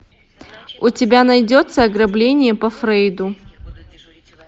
у тебя найдется ограбление по фрейду